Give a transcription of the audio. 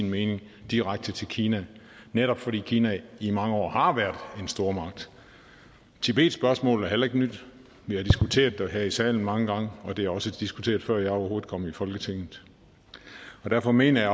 mening direkte til kina netop fordi kina i mange år har været en stormagt tibetspørgsmålet er heller ikke nyt vi har diskuteret det her i salen mange gange og det er også blevet diskuteret før jeg overhovedet kom i folketinget derfor mener jeg